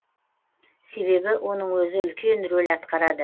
себебі оның өзі үлкен рөл атқарады